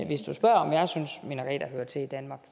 hvis du spørger om jeg synes minareter hører til i danmark